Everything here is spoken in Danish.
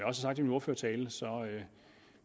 har sagt i min ordførertale